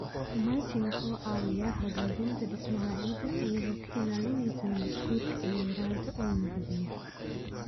Mulching wuxuu caawiyaa hagaajinta dhismaha ciidda iyadoo ka ilaalinaysa nabaad-guurka iyo yaraynta uumiga biyaha.